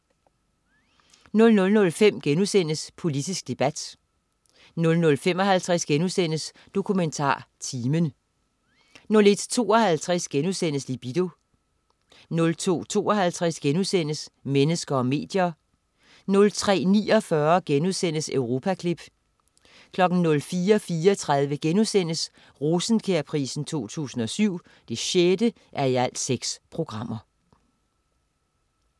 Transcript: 00.05 Politisk debat* 00.55 DokumentarTimen* 01.52 Libido* 02.52 Mennesker og medier* 03.49 Europaklip* 04.34 Rosenkjærprisen 2007 6:6*